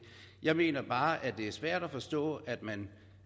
jeg mener bare at det er svært at forstå at man